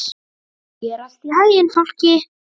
Gangi þér allt í haginn, Fálki.